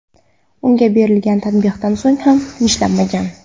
Unga berilgan tanbehdan so‘ng ham tinchlanmagan.